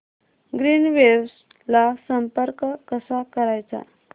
Greenwaves ला संपर्क कसा करायचा